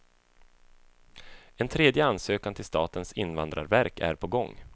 En tredje ansökan till statens invandrarverk är på gång.